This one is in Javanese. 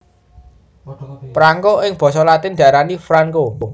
Prangko ing basa latin diarani franco